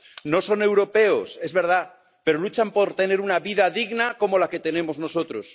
No son europeos, es verdad, pero luchan por tener una vida digna como la que tenemos nosotros.